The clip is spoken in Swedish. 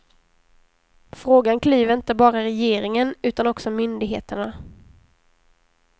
Frågan klyver inte bara regeringen utan också myndigheterna.